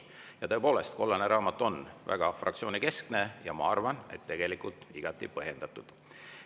Ja tõepoolest, kollane raamat on väga fraktsioonikeskne ja ma arvan, et see on tegelikult igati põhjendatud.